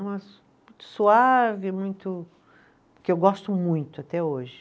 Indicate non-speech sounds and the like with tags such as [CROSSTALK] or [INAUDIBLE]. É uma [UNINTELLIGIBLE] suave, muito, que eu gosto muito até hoje.